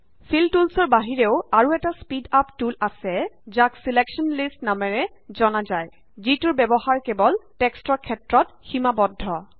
feel টুলচৰ বাহিৰেও আৰু এটা স্পীড আপ টুল আছে যাক ছিলেকশ্যন লিষ্ট নামেৰে জনা যায় যিটোৰ ব্যৱহাৰ কেৱল টেক্সটৰ ক্ষেত্ৰত সীমাবদ্ধ